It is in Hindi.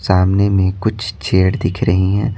सामने में कुछ चेयर दिख रही हैं।